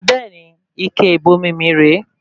Bẹẹni, ike ìbomi mí rè é